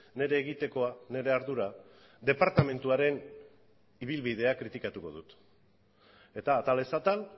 nire egitekoa nire ardura departamentuaren ibilbidea kritikatu dut eta atalez atal